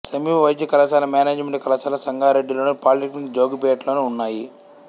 సమీప వైద్య కళాశాల మేనేజిమెంటు కళాశాల సంగారెడ్డిలోను పాలీటెక్నిక్ జోగిపేట్లోనూ ఉన్నాయి